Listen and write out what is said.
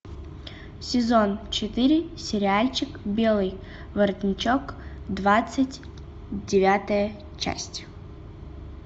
сезон четыре сериальчик белый воротничок двадцать девятая часть